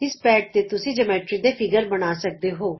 ਇਸ ਪੈਡ ਤੇ ਤੁਸੀਂ ਜਿਓਮੈਟਰੀ ਦੇ ਅਕਾਰ ਬਣਾ ਸਕਦੇ ਹੋ